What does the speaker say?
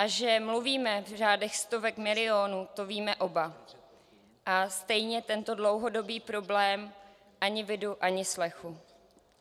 A že mluvíme v řádech stovek milionů, to víme oba, a stejně tento dlouhodobý problém - ani vidu, ani slechu.